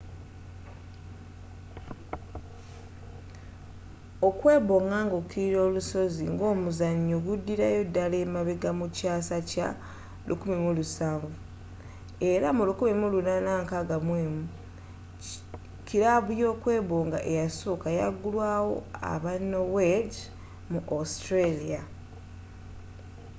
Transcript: okwebonga ng'okirira olusozi ng'omuzannyo guddirayo ddala emabega nga mu kyasa kya 17th era mu 1861 kilabu y'okwebonga eyasooka yaggulwawo aba noweegi mu australia